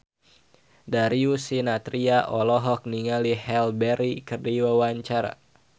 Darius Sinathrya olohok ningali Halle Berry keur diwawancara